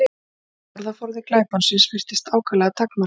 Orðaforði glæponsins virtist ákaflega takmarkaður.